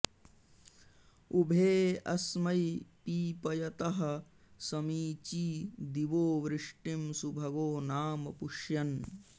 उ॒भे अ॑स्मै पीपयतः समी॒ची दि॒वो वृ॒ष्टिं सु॒भगो॒ नाम॒ पुष्य॑न्